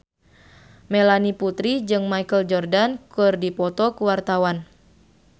Melanie Putri jeung Michael Jordan keur dipoto ku wartawan